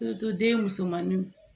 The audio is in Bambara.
den musomanninw